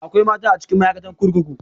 Akwai mata a cikin ma'aikatan kurkuku